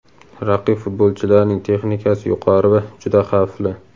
Raqib futbolchilarining texnikasi yuqori va juda xavfli;.